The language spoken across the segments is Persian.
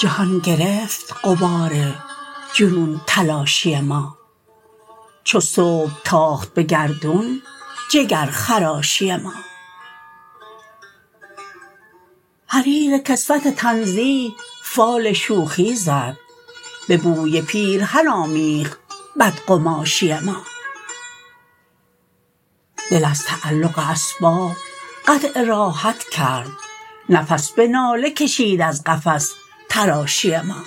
جهان گرفت غبار جنون تلاشی ما چوصبح تاخت به گردون جگرخراشی ما حریرکسوت تنزیه فال شوخی زد به بوی پیرهن آمیخت بدقماشی ما دل از تعلق اسباب قطع راحت کرد نفس به ناله کشید از قفس تراشی ما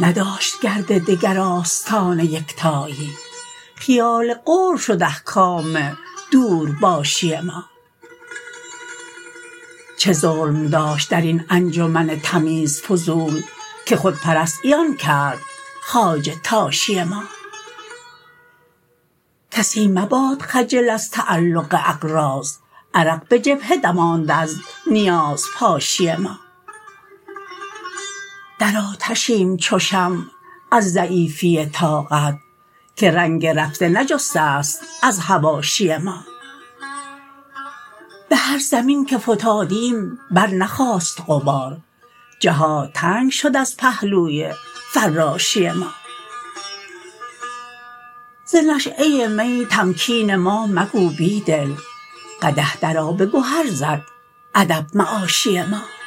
نداشت گرد دگر آستان یکتایی خیال قرب شد احکام دور باشی ما چه ظلم داشت درین انجمن تمیز فضول که خودپرست عیان کرد خواجه تاشی ما کسی مباد خجل از تعلق اغراض عرق به جبهه دماند از نیاز پاشی ما در آتشیم چو شمع از ضعیفی طاقت که رنگ رفته نجسته ست از حواشی ما به هر زمین که فتادیم برنخاست غبار جهات تنگ شد از پهلوی فراشی ما ز نشیه می تمکین ما مگو بیدل قدح در آب گهر زد ادب معاشی ما